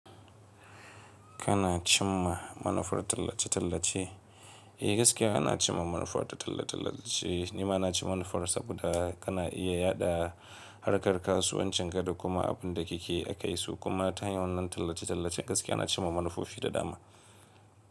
Kana cimma manufar tallace-tallace? Eh gaskiya ana cimma manufar ta talla-tallace. Ni ma na ci manufar saboda kana iya yaɗa harkar kasuwancin ka da kuma abun da kike a kai su. Kuma ta hanyar wannan tallace-tallace gaskiya ana cimma manufofi da dama.